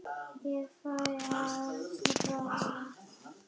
Ég fæ að ráða.